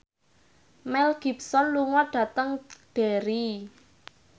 Mel Gibson lunga dhateng Derry